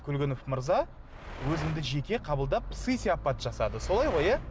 көлгінов мырза өзіңді жеке қабылдап сый сияпат жасады солай ғой иә